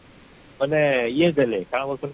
ମାନେ ଇଏ ଦେଲେ କାଣ ବୋଲୁକି